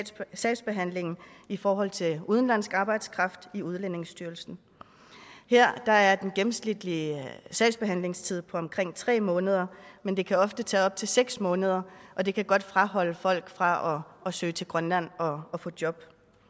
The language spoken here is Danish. sagsbehandlingen i forhold til udenlandsk arbejdskraft i udlændingestyrelsen her er den gennemsnitlige sagsbehandlingstid på omkring tre måneder men det kan ofte tage op til seks måneder og det kan godt afholde folk fra at søge til grønland og få job